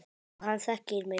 Og hann þekkir mig.